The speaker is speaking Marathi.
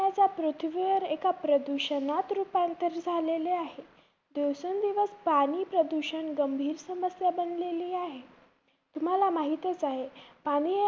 पृथ्वीवर एक प्रदुषणात रुपांतर झालेले आहे. दिवसेंदिवस पाणी प्रदूषण गंभीर समस्या बनलेली आहे. तुम्हाला माहितचं आहे. पाणी हे